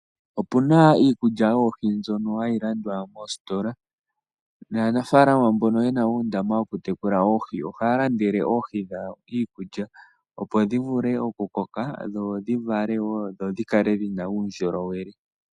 Opuna iikulya yoohi mbyoka hayi landwa moositola nanafaalama mboka yena uundama woohi ohaya landele oohi dhawo iikulya, opo dhi vule okukoka dhivake noku kala dhina uundjolowele.